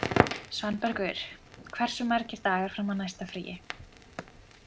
Svanbergur, hversu margir dagar fram að næsta fríi?